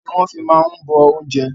Omi ní wọn fi máa ń bọ oúnjẹ